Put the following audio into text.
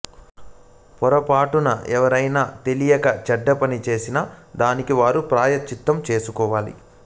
పొరపాటున ఎవరైనా తెలియక చెడ్డ పనిచేసిన దానికి వారు ప్రాయశ్చితం చేసుకోవాలి